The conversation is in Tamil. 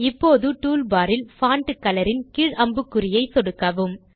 இப்போது டூல் பார் இல் பான்ட் கலர் ன் கீழ் அம்புக்குறியை சொடுக்கவும்